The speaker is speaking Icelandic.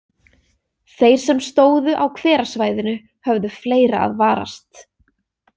Þeir sem stóðu á hverasvæðinu höfðu fleira að varast.